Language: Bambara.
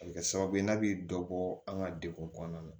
A bɛ kɛ sababu ye n'a bɛ dɔ bɔ an ka degun kɔnɔna na